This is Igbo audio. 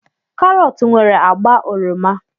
Karọt nwere agba oroma.